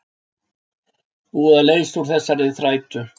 Búið að leysa úr þessari þrætu